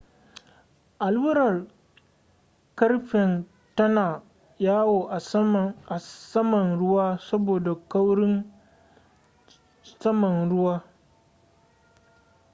allurar ƙarfen tana yawo a saman ruwa saboda kaurin saman ruwa